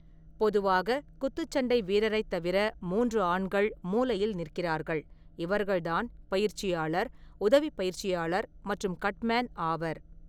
பொதுவாக, குத்துச்சண்டை வீரரைத் தவிர மூன்று ஆண்கள் மூலையில் நிற்கிறார்கள்; இவர்கள்தான் பயிற்சியாளர் , உதவிப் பயிற்சியாளர் மற்றும் கட்மேன் ஆவர் .